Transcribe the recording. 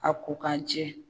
A ko k'a jɛ.